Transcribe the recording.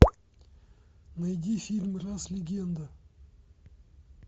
найди фильм рас легенда